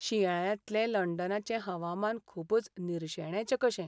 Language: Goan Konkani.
शिंयाळ्यांतलें लंडनाचें हवामान खूबच निर्शेणेचें कशें.